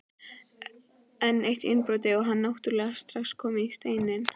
Enn eitt innbrotið og hann náttúrulega strax kominn í Steininn.